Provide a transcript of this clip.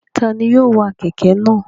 Ta ni yóò wa kẹ̀kẹ́ náà?